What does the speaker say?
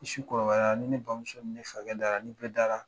Ni su kora ni ne bamuso ni ne fakɛ dara ni bɛɛ dara